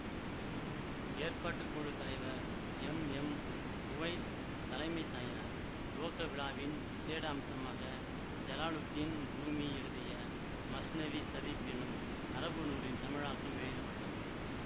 ஏற்பாட்டுக்குழுத் தலைவர் M M Uvais தலைமை தாங்கினார் துவக்கவிழாவின் விசேட அம்சமாக ஜலாலுத்தீன் ரூமி எழுதிய மஸ்னவி சரீப் எனும் அரபு நூலின் தமிழாக்கம் வெளியிட பட்டது